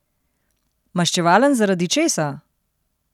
Maščevalen zaradi česa?